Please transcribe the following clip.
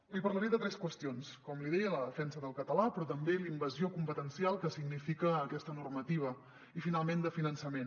li parlaré de tres qüestions com li deia la defensa del català però també la in·vasió competencial que significa aquesta normativa i finalment de finançament